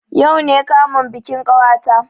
Yau ne kamun bikin ƙawata